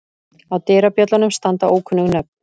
Á dyrabjöllunum standa ókunnug nöfn.